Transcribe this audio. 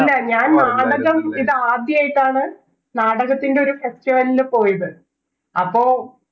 ഇല്ല ഞാൻ നാടകം ഇതാദ്യയിട്ടാണ് നാടകത്തിൻറെ ഒരു ല് പോയത് അപ്പൊ